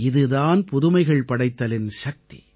இது தான் புதுமைகள் படைத்தலின் சக்தி